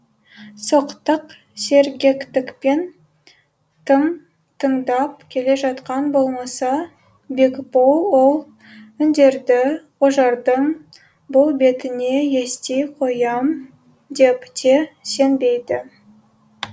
соқтық сергектікпен тың тыңдап келе жатқаны болмаса бекбол ол үндерді ожардың бұл бетіне ести қоям деп те сенбейді